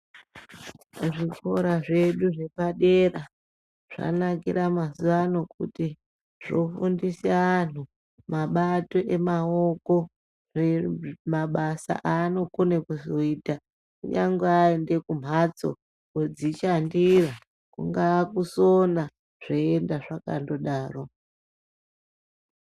Zvikora zvedu zvepadera zvanakira mazuwa ano kuti zvofundisa antu mabato emaoko mabasa aanokone kuzoita kunyangwe aenda kumhatso kudzishandira kungaa kusona zveienda zvakandodaro.